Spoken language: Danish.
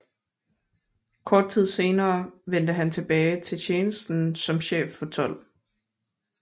Kort tid senere vendte han tilbage til tjenesten som chef for 12